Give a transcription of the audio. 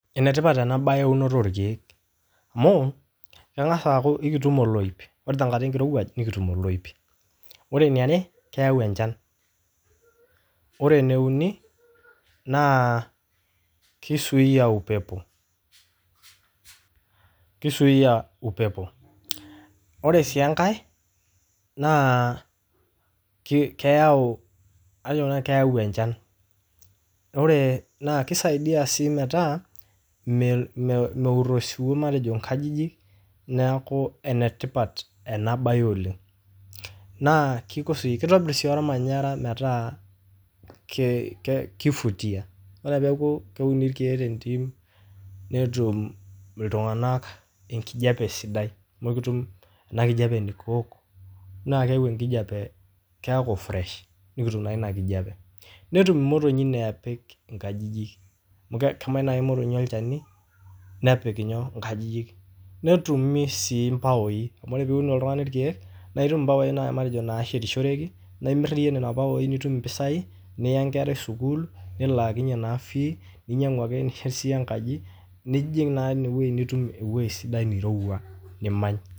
Enetipat ana baye euonoto orkiek amuu kengasa aaku ekitum oloip, ore te inkata enkirewaj nikitum oloip, ore neare keyau enchan, ore ne uni naa keisuuya upepo, ore sii enkae naa keyau ajonsii nanu keyau enchan, oree naa keisaidia sii metaa meur esuwuo matejo inkajijik naaku enetipat en baye oleng, naaku keitobirr sii olmanyarra meta keivutia, ore peaku keuni irkeek te intim netum ltunganak inkeje sidai, nikitum ana kijepe nikiok naa keyeu enkijepe keaku fresh nikitum naii ina kijepe, netum motonyi neepik inkajijik amu kemany nai olmotonyi ilcheni nepik nyoo inkajijik, netumi sii imbaoii, kore piun oltungani irkeek naa itum imbaoi matejo naasetishoreki naa imirr iye nena imbaoi nitum mpisaii niya enkerai sukuul, nilaakinye naa fee ninyang'u ake nishetie sii enkaji nijing' naa ineweji nitum eweji supata neirewua nimany.